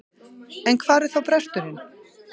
En hvar er þá bresturinn?